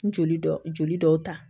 Joli dɔ joli dɔw ta